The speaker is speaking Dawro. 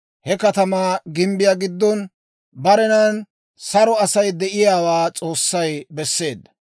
He katamaa gimbbiyaa giddon, barenan saro Asay de'iyaawaa S'oossay besseedda.